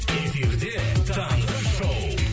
эфирде таңғы шоу